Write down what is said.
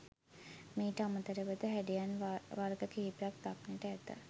මීට අමතරව ද හැඩයන් වර්ග කිහිපයක් දක්නට ඇත.